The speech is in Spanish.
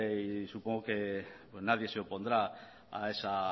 y supongo que nadie se opondrá a esa